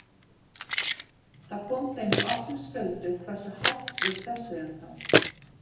Það kom þeim í opna skjöldu hversu hátt við pressuðum þá.